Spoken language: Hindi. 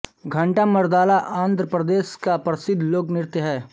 घंटामर्दाला आंध्र प्रदेश का परिद्ध लोक नृत्य है